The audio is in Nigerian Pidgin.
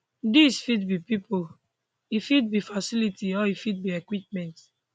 dis fit be pipo e fit be facilities or e fit be equipment